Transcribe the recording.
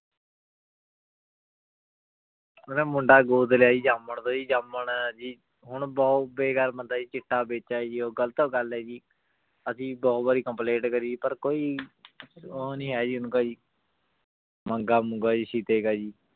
ਓਨੇ ਮੁੰਡਾ ਗੋਦ ਲਾਯਾ ਜੀ ਜਮਾਂ ਦਾ ਜੀ ਜਮਾਂ ਹੈ ਜੀ ਹੁਣ ਬੋਹਤ ਬੇਗਾਰਤ ਬੰਦਾ ਆਯ ਜੀ ਚਿਤਾ ਬੇਚੀ ਆਯ ਜੀ ਗਲਤ ਗਲ ਆਯ ਜੀ ਅਸੀਂ ਬਹੁ ਵਾਰੀ complaint ਕਰੀ ਪਰ ਕੋਈ ਊ ਨਾਈ ਹੈ ਜੀ ਉਨਕਾ ਜੀ ਮੰਗਾ ਮੂੰਗਾ ਜੀ ਸਹੀਦੀ ਕਾ ਜੀ